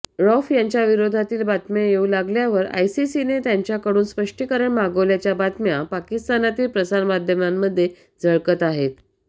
रौफ यांच्याविरोधातील बातम्या येऊ लागल्यावर आयसीसीने त्यांच्याकडून स्पष्टीकरण मागवल्याच्या बातम्या पाकिस्तानातील प्रसारमाध्यमांमध्ये झळकत आहेत